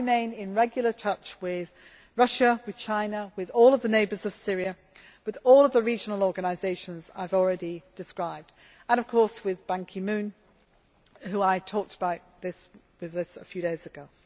I remain in regular touch with Russia, with China, with all the neighbours of Syria, with all the regional organisations I have already described and, of course, with Ban Ki Moon with whom I talked about this a few days